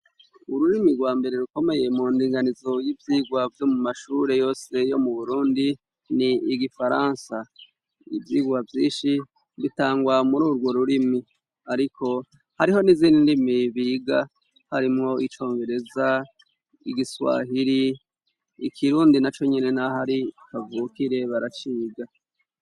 ururimi rwa mbere rukomeye mu ndinganizo y'ivyigwa vyo mu mashure yose yo mu burundi n'igifaransa ivyigwa vyishi bitangwa muri urwo rurimi ariko hariho n'izindi ndimi biga harimwo icongereza igiswahiri ikirundi naconyene naho ari kavukire baraciga